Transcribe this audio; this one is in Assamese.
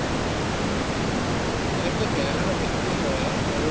উম উম উম আৰু কেৰেলাৰো আছে খেতি হয় আৰু